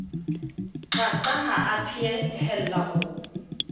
qaqa ha a phehella ho